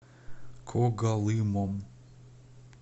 когалымом